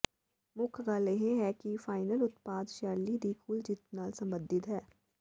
ਮੁੱਖ ਗੱਲ ਇਹ ਹੈ ਕਿ ਫਾਈਨਲ ਉਤਪਾਦ ਸ਼ੈਲੀ ਦੀ ਕੁੱਲ ਜਿੱਤ ਨਾਲ ਸੰਬੰਧਿਤ ਹੈ